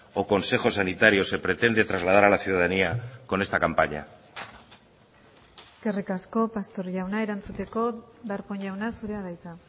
o consejo sanitario se pretende trasladar a la ciudadanía con esta campaña eskerrik asko pastor jauna erantzuteko darpón jauna zurea da hitza